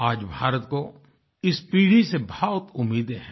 आज भारत को इस पीढ़ी से बहुत उम्मीदे हैं